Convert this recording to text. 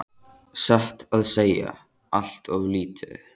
Satt að segja allt of lítið.